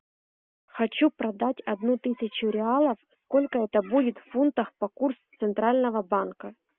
хочу продать одну тысячу реалов сколько это будет в фунтах по курсу центрального банка